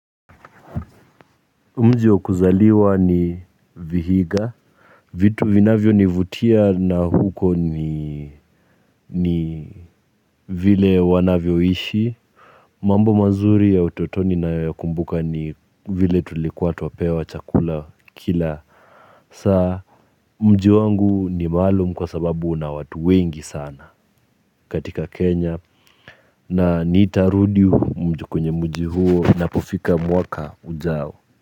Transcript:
Mji wa kuzaliwa ni vihiga. Vitu vinavyonivutia na huko ni ni vile wanavyoishi. Mambo mazuri ya utotoni nayokumbuka ni vile tulikuwa twapewa chakula kila. Saa. Mji wangu ni maalum kwa sababu una watu wengi sana katika Kenya. Na nitarudi kwenye mjio huo napofika mwaka ujao.